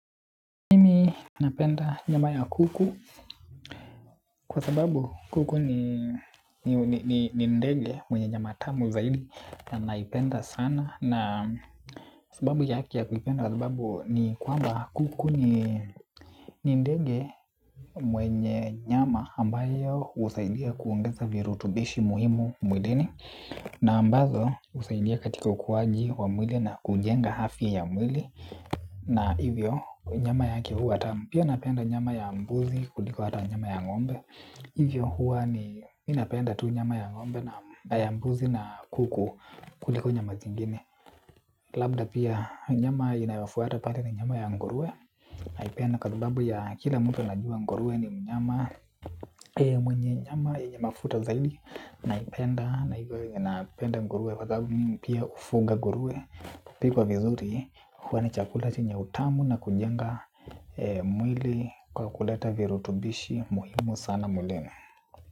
Mimi napenda nyama ya kuku kwa sababu kuku ni ndege mwenye nyama tamu zaidi na naipenda sana. Na sababu yake ya kuipenda kwa sababu ni kwamba kuku ni ndege mwenye nyama ambayo husaidia kuongeza virutubishi muhimu mwilini. Na ambazo husaidia katika ukuwaji wa mwili na kujenga afya ya mwili na hivyo nyama yake huwa tamu. Pia napenda nyama ya mbuzi kuliko hata nyama ya ng'ombe. Hivyo huwa ninapenda tu nyama ya ng'ombe na ya mbuzi na kuku kuliko nyama zingine. Labda pia nyama inayofuata pale ni nyama ya nguruwe. Naipenda kwa sababu ya kila mtu anajua nguruwe ni mnyama. Mwenye nyama yenye mafuta zaidi. Naipenda na hivyo ninapenda nguruwe. Kwa sabu mimi pia hufuga nguruwe. Ikipikwa vizuri huwa ni chakula chenye utamu na kujenga mwili kwa kuleta virutubishi muhimu sana mwilini.